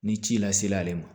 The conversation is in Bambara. Ni ci la sel'ale ma